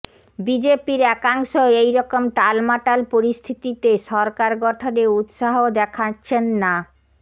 বিজেপির একাংশ এইরকম টালমাটাল পরিস্থিতিতে সরকার গঠনে উৎসাহ দেখাচ্ছেন না